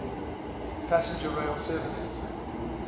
passenger rail services